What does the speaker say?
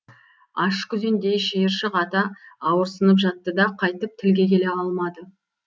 аш күзендей шиыршық ата ауырсынып жатты да қайтып тілге келе алмады